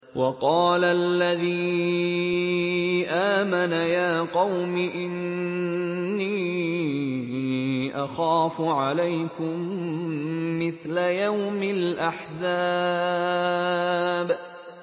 وَقَالَ الَّذِي آمَنَ يَا قَوْمِ إِنِّي أَخَافُ عَلَيْكُم مِّثْلَ يَوْمِ الْأَحْزَابِ